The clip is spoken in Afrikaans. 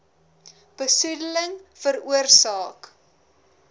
besoede ling veroorsaak